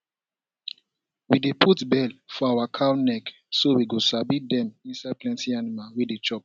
we dey put bell for our cow neck so we go sabi dem inside plenty animal wey dey chop